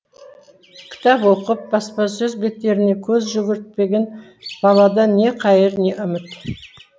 кітап оқып баспасөз беттеріне көз жүгіртпеген баладан не қайыр не үміт